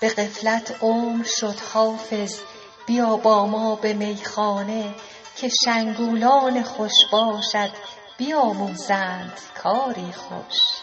به غفلت عمر شد حافظ بیا با ما به میخانه که شنگولان خوش باشت بیاموزند کاری خوش